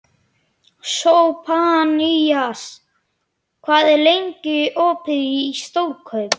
Sophanías, hvað er lengi opið í Stórkaup?